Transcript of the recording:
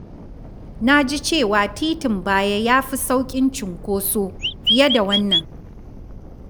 Na ji cewa titin baya ya fi sauƙin cunkoso fiye da wannan.